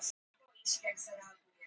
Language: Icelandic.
Eyvindarmúla